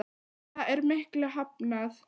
Og það er miklu hafnað.